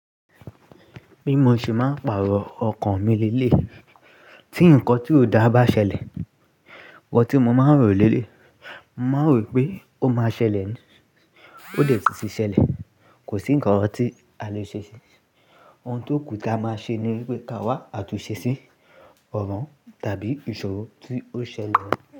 Bí mo ṣe máa ń pàrọ̀ ọkàn mi leleyi, tí ǹkan tí ó dà bá ṣẹlẹ̀, nkan tí mo máa ń rò leleyi, mo máa n rò pé ó máa ṣẹlẹ̀ ni, ó dẹ̀ tí ṣi ṣẹlẹ̀, kò sí ǹkan ti à le ṣe ṣe. Ohun tó kù ta máa ṣe ni wípé ka wá àtúnṣe sí ọ̀ràn tàbí ìṣòro tí ó ṣẹlẹ̀